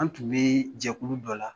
An tun bɛ jɛku dɔ la